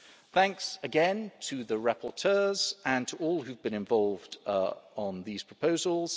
Thanks again to the rapporteurs and to all who have been involved on these proposals.